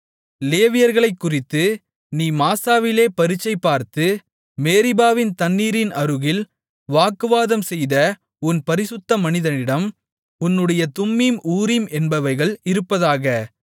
லேவியர்களைக்குறித்து நீ மாசாவிலே பரீட்சைபார்த்து மேரிபாவின் தண்ணீரின் அருகில் வாக்குவாதம்செய்த உன் பரிசுத்த மனிதனிடம் உன்னுடைய தும்மீம் ஊரீம் என்பவைகள் இருப்பதாக